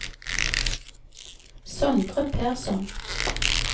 Sondre Persson